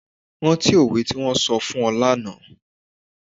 Rántí òwe tí wón sọ fún ọ lánàá.